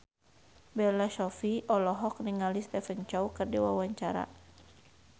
Bella Shofie olohok ningali Stephen Chow keur diwawancara